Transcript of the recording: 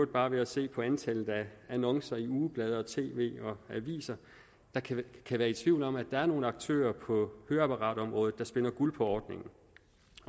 bare se på antallet af annoncer i ugeblade og tv og aviser der kan kan være i tvivl om at der er nogle aktører på høreapparatområdet der spinder guld på ordningen